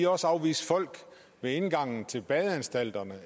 også afvise folk ved indgangen til badeanstalterne